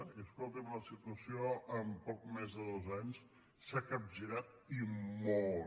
i escoltin la situació en poc més de dos anys s’ha capgirat i molt